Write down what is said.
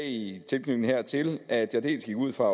i tilknytning hertil at jeg dels gik ud fra